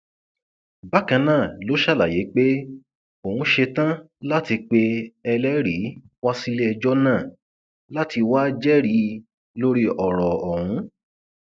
bákan náà ló ṣàlàyé pé òun ṣetán láti pe ẹlẹrìí wá síléẹjọ náà láti wáá jẹrìí lórí ọrọ ọhún